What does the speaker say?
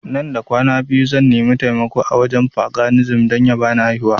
Nan da kwana biyu zan nimi taimako a wajen paganism don ya bani aihuwa